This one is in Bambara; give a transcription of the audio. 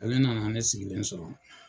Ale nana ne sigilen sɔrɔ.